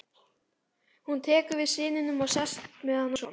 Hún tekur við syninum og sest með hann í sófann.